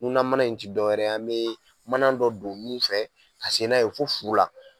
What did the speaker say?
Munna mana in ti dɔw wɛrɛ ye an bɛ mana dɔ don min fɛ ka se n'a ye fo furu la.